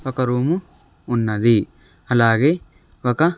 ఒక రూము ఉన్నది అలాగే ఒక--